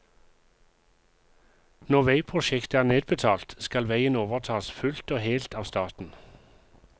Når veiprosjektet er nedbetalt, skal veien overtas fullt og helt av staten.